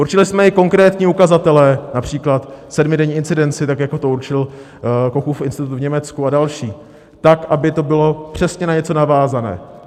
Určili jsme i konkrétní ukazatele, například sedmidenní incidenci tak, jako to určil Kochův institut v Německu, a další tak, aby to bylo přesně na něco navázané.